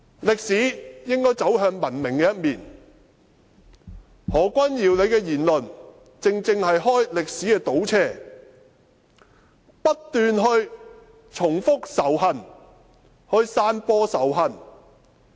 歷史應該走向文明的一面，何君堯議員的言論，正正是開歷史的倒車，不斷重複仇恨，散播仇恨。